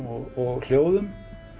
og hljóðum